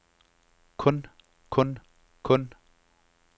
kun kun kun